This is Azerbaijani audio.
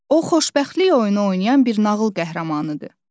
O xoşbəxtlik oyunu oynayan bir nağıl qəhrəmanıdır.